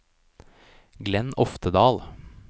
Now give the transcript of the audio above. Glenn Oftedal